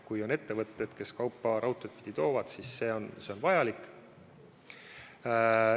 Kui on ettevõtteid, kes kaupa raudteed pidi veavad, siis on see raudtee vajalik.